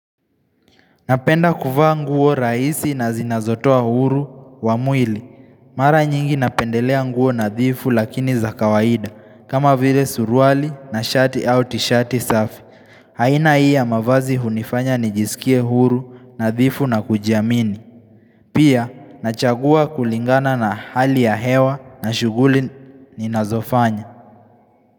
Napenda kufa nguo raisi na zinazotoa uhuru wa mwili. Mara nyingi napendelea nguo nadhifu lakini za kawaida. Kama vile suruali na shati au tishati safi. Haina hii ya mavazi hunifanya nijisikie huru nadhifu na kujiamini. Pia nachagua kulingana na hali ya hewa na shuguli ninazofanya.